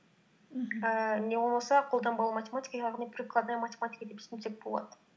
мхм ііі не болмаса қолданбалы математика яғни прикладная математика деп түсінсек болады